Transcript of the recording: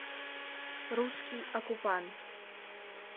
русский оккупант